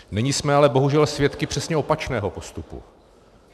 Nyní jsme ale bohužel svědky přesně opačného postupu.